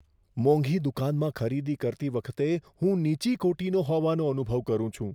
મોંઘી દુકાનમાં ખરીદી કરતી વખતે હું નીચી કોટીનો હોવાનો અનુભવ કરું છું.